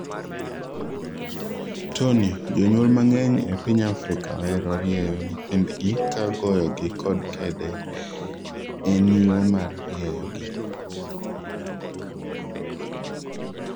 Tony, jonyuol mang'eny e piny Afrika ohero rieyo nyithindgi ka goyogi kod kede en yo mar rieyogi